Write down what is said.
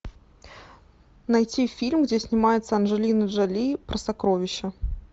найти фильм где снимается анджелина джоли про сокровища